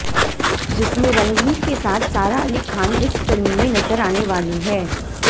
जिसमें रणवीर के साथ सारा अली खान इस फिल्म में नजर आने वाली हैं